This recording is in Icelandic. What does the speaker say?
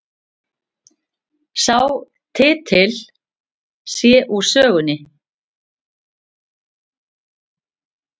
Sá titill sé úr sögunni